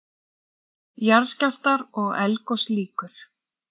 JARÐSKJÁLFTAR OG ELDGOS LÝKUR